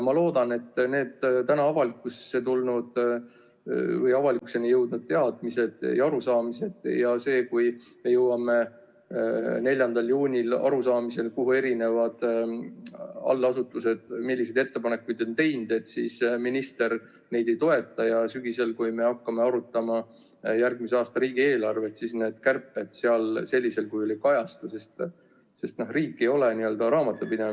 Ma loodan, et need täna avalikuks tulnud teadmised ja arusaamised ja see, kui me jõuame 4. juunil arusaamisele, milliseid ettepanekuid erinevad allasutused on teinud, siis minister neid ei toeta, ja sügisel, kui me hakkame arutama järgmise aasta riigieelarvet, siis need kärped seal sellisel kujul ei kajastu, sest riik ei ole raamatupidaja.